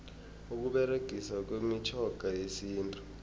ukuberegiswa kwemitjhoga yesintu